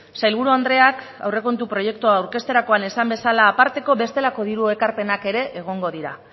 sailburu andreak aurrekontu proiektua aurkezterakoan esan bezala aparteko bestelako diru ekarpenak ere egongo dira